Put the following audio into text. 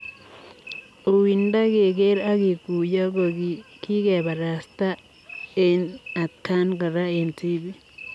Uindoo kegeer ak kiguiyoo ko kikeparastaa eng atakaan koraa eng tipik.